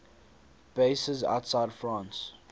bases outside france